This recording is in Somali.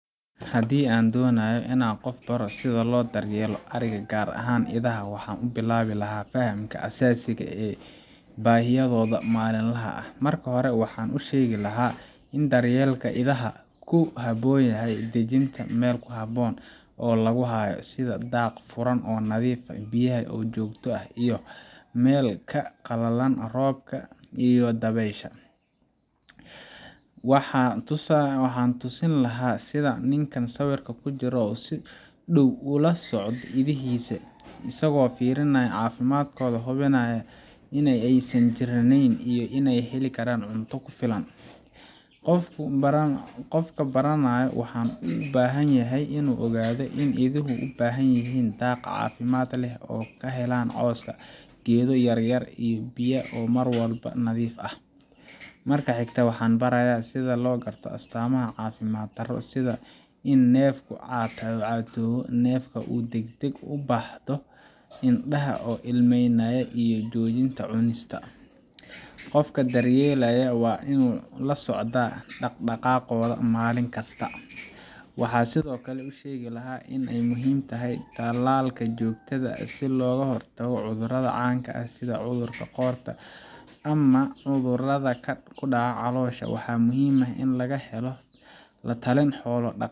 Haddii aan doonayo in aan qof baro sida loo daryeelo adhiga, gaar ahaan idaha, waxaan ku bilaabi lahaa fahamka aasaasiga ah ee baahiyahooda maalinlaha ah. Marka hore, waxaan u sheegi lahaa in daryeelka idaha uu ka bilaabmo dejinta meel ku habboon oo lagu hayo sida daaq furan oo nadiif ah, biyaha oo joogto ah, iyo meel ay ka galaan roobka iyo dabaysha. Waxaan tusaale u siin lahaa sida ninkaan sawirka ku jira uu si dhow ula socdo idihiisa isagoo fiirinaya caafimaadkooda, hubinaya in aysan jirranayn, iyo in ay heli karaan cunto ku filan. Qofka baranaya wuxuu u baahan yahay in uu ogaado in iduhu u baahan yihiin daaq caafimaad leh oo ay ka helaan caws, geedo yaryar, iyo biyaha oo mar walba nadiif ah. Marka xigta, waxaan barayaa sida loo garto astaamaha caafimaad darro sida in neefku caatoobo, neefta oo deg deg ah u baxdo, indhaha oo ilmaynaya, ama inuu joojiyo cunista. Qofka daryeelaaya waa in uu la socda dhaqdhaqaaqooda maalin kasta. Waxaan sidoo kale u sheegi lahaa in ay muhiim tahay tallaalka joogtada ah si looga hortago cudurrada caanka ah sida cudurka qoorta ama cudurrada ku dhaca caloosha. Waxaa muhiim ah in laga helo la-talin xoolo-dhaqale